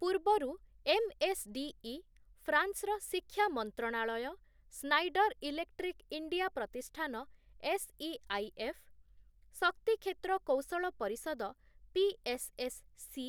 ପୂର୍ବରୁ ଏମ୍‌ଏସ୍‌ଡିଇ, ଫ୍ରାନ୍ସର ଶିକ୍ଷା ମନ୍ତ୍ରଣାଳୟ, ସ୍ନାଇଡ଼ର ଇଲେକ୍ଟ୍ରିକ ଇଣ୍ଡିଆ ପ୍ରତିଷ୍ଠାନ ଏସ୍‌ଇଆଇଏଫ୍‌, ଶକ୍ତି କ୍ଷେତ୍ର କୌଶଳ ପରିଷଦ ପିଏସ୍‌ଏସ୍‌ସି